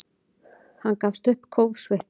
Hann gafst upp, kófsveittur.